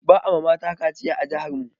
Ba a mata kaciya a jihar mu